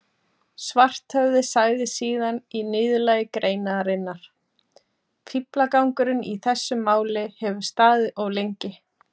Svarthöfði sagði síðan í niðurlagi greinarinnar: Fíflagangurinn í þessu máli hefur staðið of lengi.